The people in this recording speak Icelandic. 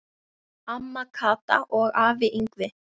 Amma Kata og afi Yngvi.